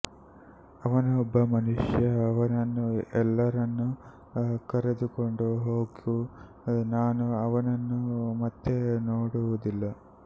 ಅವನು ಒಬ್ಬ ಮನುಷ್ಯ ಅವನನ್ನು ಎಲ್ಲರನ್ನೂ ಕರೆದುಕೊಂಡು ಹೋಗು ನಾನು ಅವನನ್ನು ಮತ್ತೆ ನೋಡುವುದಿಲ್ಲ